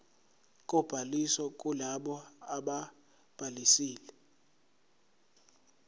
kobhaliso kulabo ababhalisile